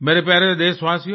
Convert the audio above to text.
मेरे प्यारे देशवासियो